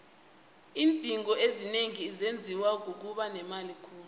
iindingo ezinengi zenziwa kukuba nemali khulu